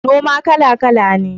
Noma kala-kala ne.